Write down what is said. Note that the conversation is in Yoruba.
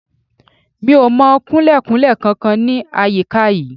Mi ò mọ Kunlé-kunlé kankan ní àyíká yìí.